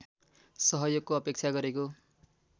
सहयोगको अपेक्षा गरेको